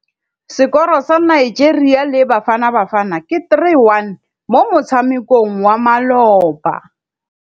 Sekôrô sa Nigeria le Bafanabafana ke 3-1 mo motshamekong wa malôba.